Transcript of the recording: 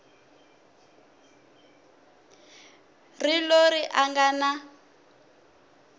ri loyi a nga na